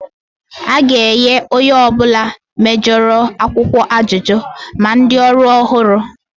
A ga-enye onye ọ bụla mejoro akwụkwọ ajụjụ, ma ndị ọrụ ọhụrụ